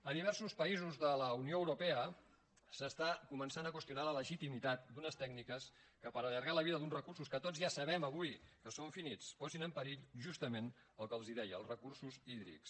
a diversos països de la unió europea s’està començant a qüestionar la legitimitat d’unes tècniques que per allargar la vida d’uns recursos que tots ja sabem avui que són finits posin en perill justament el que els deia els recursos hídrics